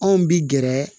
Anw bi gɛrɛ